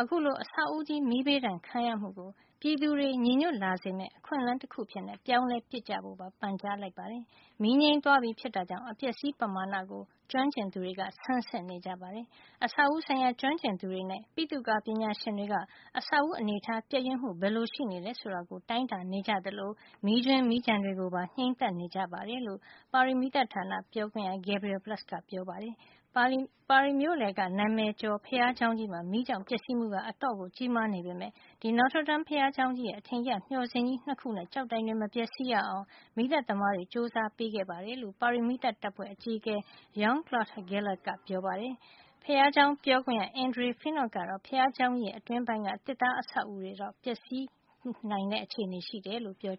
အခုလို အဆောက်ဦးကြီး မီးဘေးဒဏ်ခံရမှုကို ပြည်သူတွေညီညွတ်လာစေမယ့် အခွင့်အလန်းတခု အဖြစ် ပြောင်းလဲပစ်ကြဖို့ပါ ပန်ကြားလိုက်ပါတယ်။ မီးငြိမ်းသွားပြီဖြစ်တာကြောင့် အပျက်အစီး ပမာဏကို ကျွမ်းကျင်သူတွေ ဆန်းစစ်နေကြပါတယ်။ အဆောက်အဦး ဆိုင်ရာ ကျွမ်းကျင်သူတွေနဲ့ ပိသုကာ ပညာရှင်တွေက အဆောက်အဦးအနေထား ပျက်ယွင်းမှုဘယ်လို ရှိနေတယ်ဆိုတာကို တိုင်းတာနေကြသလို မီးကြွင်း မီးကျန်တွေကို ပါ ငြိမ်းသတ်နေကြတယ်လို့ ပါရီမီးသတ်ဌာန ပြောခွင့်ရ Gabriel Plus ကပြောပါတယ်။ ပါရီမြို့လယ်က နာမည်ကျော် ဘုရားကျောင်းကြီးမှာ မီးကြောင့် ပျက်စီးမှုက အတော်ကြီးမားနေပေမယ့် Notre Dame ဘုရားကျောင်းကြီးရဲ့ အထင်ကရ မျှော်စင်ကြီး ၂ ခုနဲ့ ကျောက်တိုင်တွေ မပျက်စီးရအောင် မီးသတ်သမားတွေ ကြိုးစားပေးခဲ့တယ်လို့ ပါရီမီးသတ်တပ်ဖွဲ့ အကြီးအကဲ Jean-Claude Gallet က ပြောပါတယ်။ ဘုရားကျောင်းပြောခွင့်ရ Andre Finot ကတော့ ဘုရားကျောင်း အတွင်းပိုင်းက သစ်သားတွေ ပျက်စီးနိုင်ချေရှိတယ်လို့ ပြော